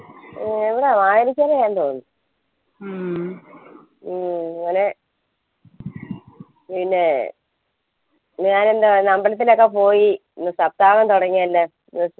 ഇവിടാ വായനശാലയാ തോന്നു അങ്ങനെ പിന്നേ ഞാനെന്താ അമ്പലത്തിലൊക്കെ പോയി ഇന്ന് സപ്താഹം തുടങ്ങിയല്ല